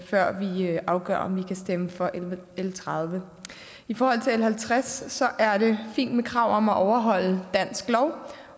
afgør om vi kan stemme for l tredivete i forhold til l halvtreds er det fint med krav om at overholde dansk lov